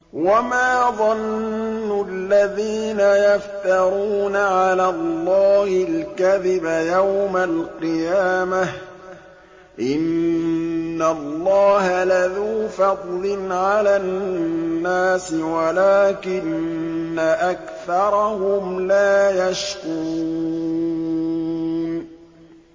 وَمَا ظَنُّ الَّذِينَ يَفْتَرُونَ عَلَى اللَّهِ الْكَذِبَ يَوْمَ الْقِيَامَةِ ۗ إِنَّ اللَّهَ لَذُو فَضْلٍ عَلَى النَّاسِ وَلَٰكِنَّ أَكْثَرَهُمْ لَا يَشْكُرُونَ